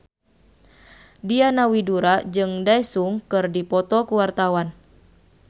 Diana Widoera jeung Daesung keur dipoto ku wartawan